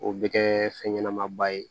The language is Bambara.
O bɛ kɛ fɛn ɲɛnama ba ye